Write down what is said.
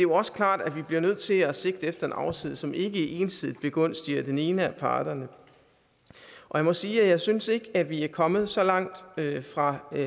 også klart at vi bliver nødt til at sigte efter en aftale som ikke ensidigt begunstiger den ene af parterne jeg må sige at jeg ikke synes at vi er kommet så langt fra